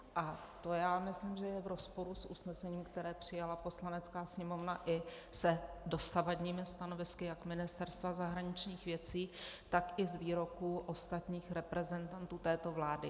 A to já myslím, že je v rozporu s usnesením, které přijala Poslanecká sněmovna, i s dosavadními stanovisky jak Ministerstva zahraničních věcí, tak i s výroky ostatních reprezentantů této vlády.